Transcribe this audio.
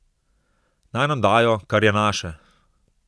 Naj nam dajo, kar je naše.